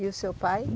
E o seu pai?